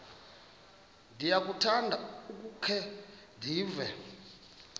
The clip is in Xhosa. ndiyakuthanda ukukhe ndive